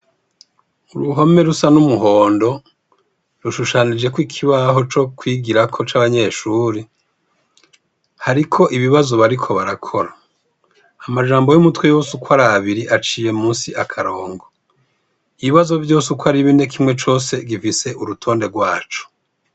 Kuruhome rusa n'umuhondo, rushushanijeko ikibaho co kwigirako c'abanyeshuri, hariko ibazo bariko barakora, amajambo y'umutwe yose ukwar'abiri aciye musi akarongo, ibibazo vyose uko ari bine kimwe cose gifise urutonde rwaco.